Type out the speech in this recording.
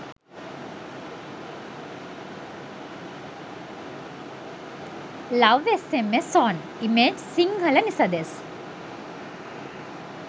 love sms zone image sinhala nisadas